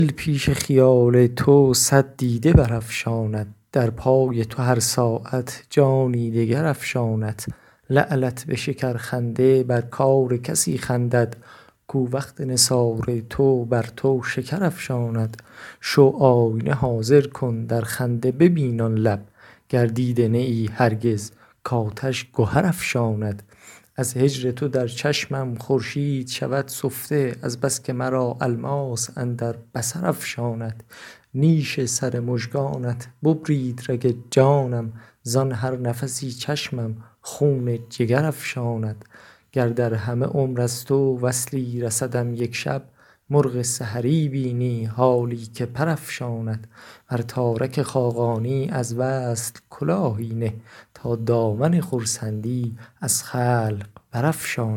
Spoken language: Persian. دل پیش خیال تو صد دیده برافشاند در پای تو هر ساعت جانی دگر افشاند لعلت به شکرخنده بر کار کسی خندد کو وقت نثار تو بر تو شکر افشاند شو آینه حاضر کن در خنده ببین آن لب گر دیده نه ای هرگز کاتش گهر افشاند از هجر تو در چشمم خورشید شود سفته از بس که مرا الماس اندر بصر افشاند نیش سر مژگانت ببرید رگ جانم زان هر نفسی چشمم خون جگر افشاند گر در همه عمر از تو وصلی رسدم یک شب مرغ سحری بینی حالی که پر افشاند بر تارک خاقانی از وصل کلاهی نه تا دامن خرسندی از خلق برافشاند